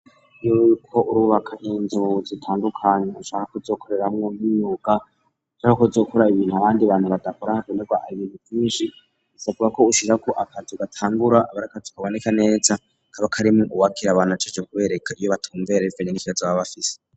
Iyo uriko urubaka inzu zitandukanye ushaka k'uzokoreramwo nk'imyuga, canke ushaka gukora ibintu abandi bantu badakora, hakenerwa ibintu vyinshi, bisabwako wubaka akazu gatangura, kaba ar'akazu kaboneka neza, kaba karimwo uwujejwe kwakira abantu abereka aho batumbera ,abakira nivyo baba bafise.